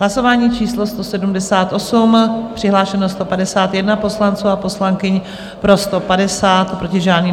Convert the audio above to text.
Hlasování číslo 178, přihlášeno 151 poslanců a poslankyň, pro 150, proti žádný.